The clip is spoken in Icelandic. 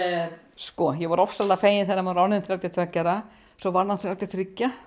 sko ég var ofsalega fegin þegar hann var orðinn þrjátíu og tveggja ára svo varð hann þrjátíu og þrjú